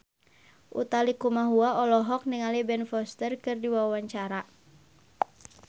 Utha Likumahua olohok ningali Ben Foster keur diwawancara